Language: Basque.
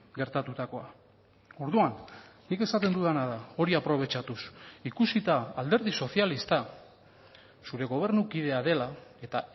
gertatutakoa orduan nik esaten dudana da hori aprobetxatuz ikusita alderdi sozialista zure gobernu kidea dela eta